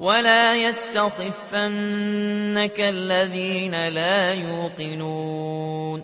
وَلَا يَسْتَخِفَّنَّكَ الَّذِينَ لَا يُوقِنُونَ